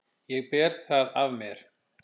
Ég ber það af mér.